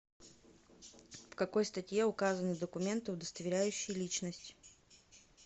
в какой статье указаны документы удостоверяющие личность